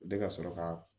Bɛ ka sɔrɔ ka